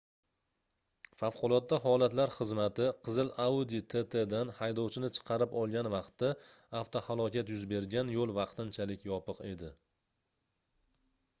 favqulodda holatlar xizmati qizil audi tt dan haydovchini chiqarib olgan vaqtda avtohalokat yuz bergan yoʻl vaqtinchalik yopiq edi